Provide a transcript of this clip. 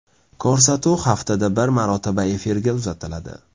Ko‘rsatuv haftada bir marotaba efirga uzatiladi.